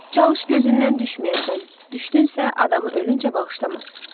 Çalış gözündən düşməyəsən, düşdünsə adamı ölüncə bağışlamaz.